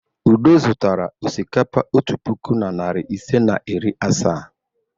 Udo zụtara osikapa otu puku na narị ise na iri asaa.